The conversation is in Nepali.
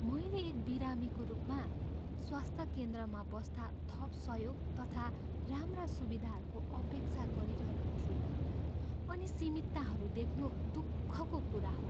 मैले एक बिरामीको रूपमा, स्वास्थ्य केन्द्रमा बस्दा थप सहयोग तथा राम्रा सुविधाहरूको अपेक्षा गरिरहेको थिएँ, अनि सीमितताहरू देख्नु दुःखको कुरा हो।